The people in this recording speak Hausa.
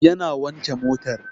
Yana wanke motar